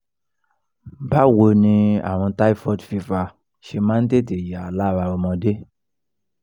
báwo ni àrùn typhoid fever ṣe máa ń tètè yá lára ọmọdé?